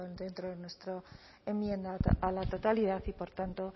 dentro de nuestra enmienda a la totalidad y por tanto